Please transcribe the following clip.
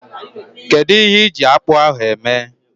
Kedu ihe ịji akpu ahu eme?